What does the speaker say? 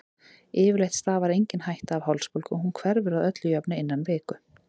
Yfirleitt stafar engin hætta af hálsbólgu og hún hverfur að öllu jöfnu innan viku.